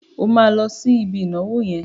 O máa lọ sí ibi ìnáwó yẹn.